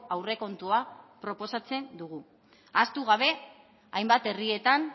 aurrekontua proposatzen dugu ahaztu gabe hainbat herrietan